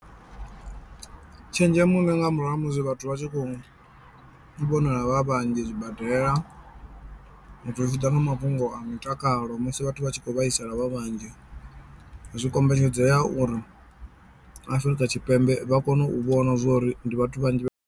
Tshenzhemo ndi nga murahu ha musi vhathu vha tshi khou vhonala vha vhanzhi zwibadela zwi tshi ḓa nga mafhungo a mutakalo musi vhathu vhatshi kho vhaisala vha vhanzhi, zwi kombetshedzea uri Afrika Tshipembe vha kono u vhona zwori ndi vhathu vhanzhi vhe .